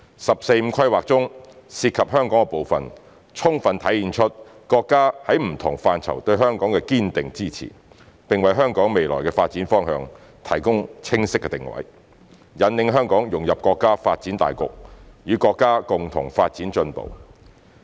"十四五"規劃中涉及香港的部分，充分體現出國家在不同範疇對香港的堅定支持，並為香港未來的發展方向提供清晰定位，引領香港融入國家發展大局，與國家共同發展進步。